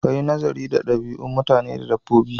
Kayi naziri ga ɗabi'u mutane da dabbobi